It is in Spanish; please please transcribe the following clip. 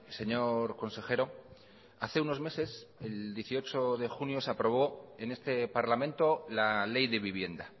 señor consejero hace unos meses el dieciocho de junio se aprobó en este parlamento la ley de vivienda